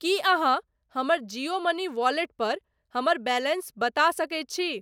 की अहाँ हमर Jio money wallet पर हमर बैलेंस बता सकैत छी ?